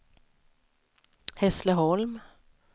Hässleholm